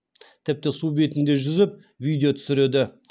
тіпті су бетінде жүзіп видео түсіреді